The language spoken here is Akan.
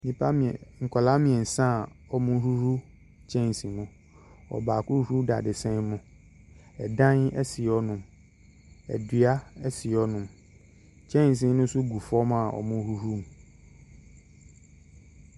Nnipa mmiɛ nkwadaa mmiɛnsa a wɔrehohor kyɛnse mu. Ɔbaako rehohor dadesɛn mu, dan si hɔnom, dua si hɔnom, kyɛnse no nso gu fam a wɔrehohor mu.